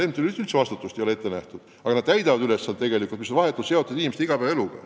MTÜ-de vastutust ei ole üldse ette nähtud, aga nad täidavad ülesandeid, mis on vahetult seotud inimeste igapäevaeluga.